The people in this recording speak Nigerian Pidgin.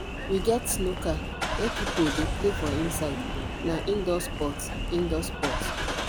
we get snooker wey pipo dey play for inside na indoor sport indoor sport